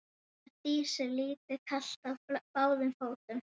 Þá var Dísu litlu kalt á báðum fótum.